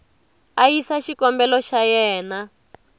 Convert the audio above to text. a yisa xikombelo xa yena